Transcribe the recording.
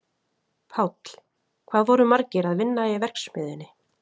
Páll: Hvað voru margir að vinna í verksmiðjunni?